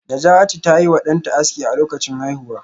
Najatu ta yi wa danta aski a lokacin haihuwa